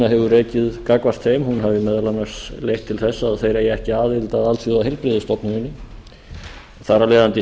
hefur rekið gagnvart þeim hafi meðal annars leitt til þess að þeir eigi ekki aðild að alþjóðaheilbrigðisstofnuninni þar af leiðandi